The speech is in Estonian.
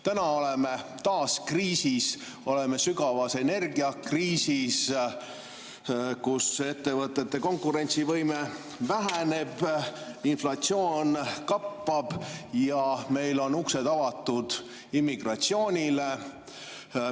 Täna oleme taas kriisis, oleme sügavas energiakriisis, ettevõtete konkurentsivõime väheneb, inflatsioon kappab ja meil on uksed avatud immigratsioonile.